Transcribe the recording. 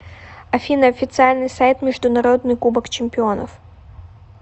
афина официальный сайт международный кубок чемпионов